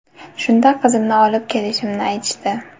Shunda qizimni olib kelishimni aytishdi.